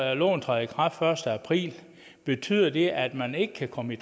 at loven træder i kraft den første april betyder det at man ikke kan komme i